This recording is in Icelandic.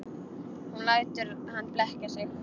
Hún lætur hann blekkja sig.